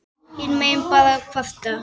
Hinir mega bara kvarta.